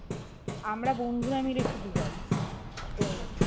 আমরা বন্ধুরা মিলে শুধু যাবো তো